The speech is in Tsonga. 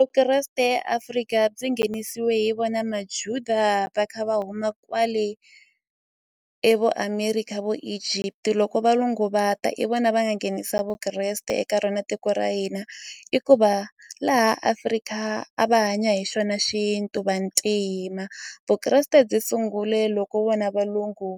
Vukreste Afrika byi nghenisiwe hi vona maJuda va kha va huma kwale e vo America vo Egypt loko valungu va ta i vona va nga nghenisa Vukreste eka rona tiko ra hina i ku va laha Africa a va hanya hi xona xintu vantima Vukreste byi sungule loko vona valungu